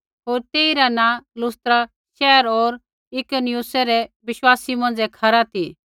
होर तेइरा नाँ लुस्त्रा शैहर होर इकुनियुमै रै बिश्वासी मौंझ़ै खरा ती